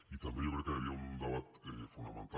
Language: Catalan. i també jo crec que hi havia un debat fonamental